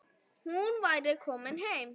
Hún væri komin heim.